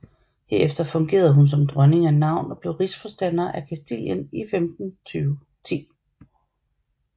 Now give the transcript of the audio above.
Herefter fungerede hun som dronning af navn og blev rigsforstander af Kastilien i 1510